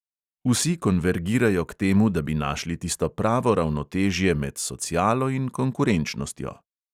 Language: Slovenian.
Vsi konvergirajo k temu, da bi našli tisto pravo ravnotežje med socialo in konkurenčnostjo.